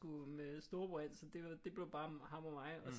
Skulle med storebror ind så det blev bare ham og mig